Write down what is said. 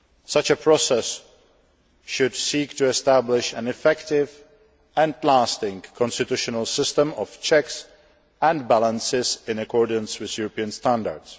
Such a process should seek to establish an effective and lasting constitutional system of checks and balances in accordance with European standards.